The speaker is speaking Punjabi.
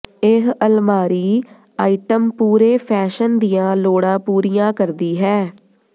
ਇਹ ਅਲਮਾਰੀ ਆਈਟਮ ਪੂਰੇ ਫੈਸ਼ਨ ਦੀਆਂ ਲੋੜਾਂ ਪੂਰੀਆਂ ਕਰਦੀ ਹੈ